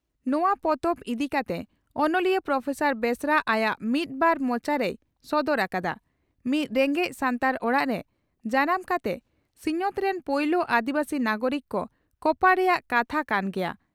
ᱱᱚᱣᱟ ᱯᱚᱛᱚᱵ ᱤᱫᱤ ᱠᱟᱛᱮ ᱚᱱᱚᱞᱤᱭᱟᱹ ᱯᱨᱚᱯᱷᱮᱥᱟᱨ ᱵᱮᱥᱨᱟ ᱟᱭᱟᱜ "ᱢᱤᱫ ᱵᱟᱨ ᱢᱚᱪᱟ" ᱨᱮᱭ ᱥᱚᱫᱚᱨ ᱟᱠᱟᱫᱼᱟᱺᱼ ᱢᱤᱫ ᱨᱮᱸᱜᱮᱡ ᱥᱟᱱᱛᱟᱲ ᱚᱲᱟᱜ ᱨᱮ ᱡᱟᱱᱟᱢ ᱠᱟᱛᱮ ᱥᱤᱧᱚᱛ ᱨᱮᱱ ᱯᱩᱭᱞᱩ ᱟᱹᱫᱤᱵᱟᱹᱥᱤ ᱱᱟᱜᱚᱨᱤᱠ ᱫᱚ ᱠᱚᱯᱟᱲ ᱨᱮᱭᱟᱜ ᱠᱟᱛᱷᱟ ᱠᱟᱱ ᱜᱮᱭᱟ ᱾